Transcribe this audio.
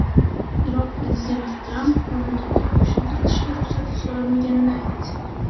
Iroq prezidenti Tramp mamlakatga qo‘shin kiritishga ruxsat so‘ramaganini aytdi.